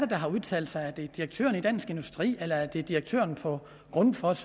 der har udtalt sig er det direktøren i dansk industri eller er det direktøren for grundfos